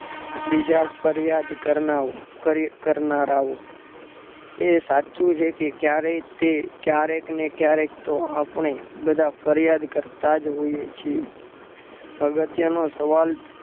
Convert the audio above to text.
બીજા ફરિયાદ કરનારાઓ એ સાચું કે કે ક્યારેય તે કયારેક ને ક્યારેક તો આપણે બધા ફરિયાદ તો કરતા જ હોઈએ છે. અગત્યનો સવાલ